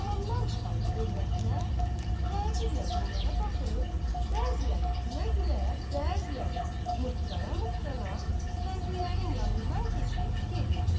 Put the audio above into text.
Hamamdan çıxan övrətlər təəccüblə bunlara baxıb, bəziləri gülə-gülə, bəziləri mırtlana-mırtlana kəndlilərin yanından keçib gedirdilər.